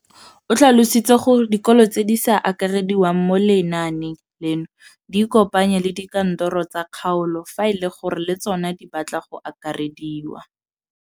O tlhalositse gore dikolo tse di sa akarediwang mo lenaaneng leno di ikopanye le dikantoro tsa kgaolo fa e le gore le tsona di batla go akarediwa.